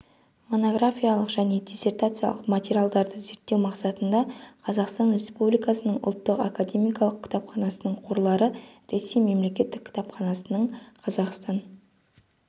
монографиялық және диссертациялық материалды зерттеу мақсатында қазақстан республикасының ұлттық академиялық кітапханасының қорлары ресей мемлекеттік кітапханасының қазақстан